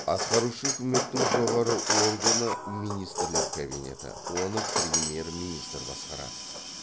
атқарушы үкіметтің жоғары органы министрлер кабинеті оны премьер министр басқарады